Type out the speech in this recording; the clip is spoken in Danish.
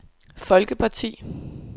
folkeparti